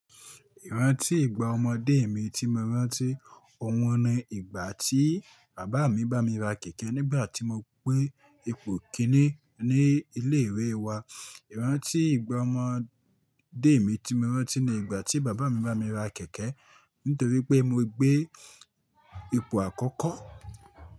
Ìrántí ìgbà ọmọdé mi tí mo rántí, òun ni ìgbà tí bàbá mi bá mi ra kẹ̀kẹ́ nígbà tí mo pé ipò kìíní ní ilé ìwé wa. Ìrántí ìgbà ọmọdé mi tí mo rántí ní ìgbà tí bàbá mi bá mi ra kẹ̀kẹ́ nítorí pé mo gbé ipò àkọ́kọ́.